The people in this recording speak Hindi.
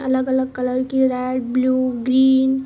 अलग अलग कलर की रेड ब्लू ग्रीन --